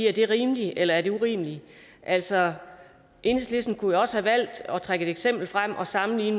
er det rimeligt eller er det urimeligt altså enhedslisten kunne jo også have valgt at trække eksempel frem og sammenlignet